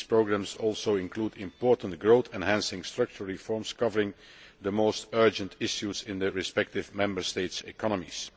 These programmes also include important growth enhancing structural reforms covering the most urgent issues in the respective Member States' economies.